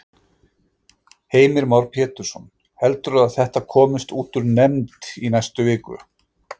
Heimir Már Pétursson: Heldurðu að þetta komist út úr nefnd í næstu viku?